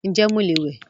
Ǹjẹ́ mo lè wẹ́